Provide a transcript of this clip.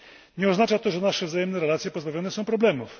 Nie oznacza to, że nasze wzajemne relacje pozbawione są problemów.